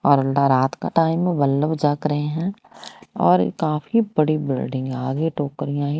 और अंदर रात का टाइम है जाग रहे है और काफी बड़ी बिल्डिंग है आगे टोकरियां ही--